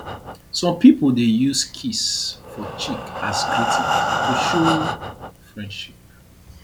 some pipo dey use kiss for cheek as greeting to show friendship